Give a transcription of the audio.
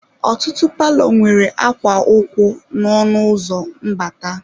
Ọtụtụ palọ nwere akwa ụkwụ n'ọnụ ụzọ mbata.